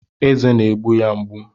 Eze na-egbu ya mgbu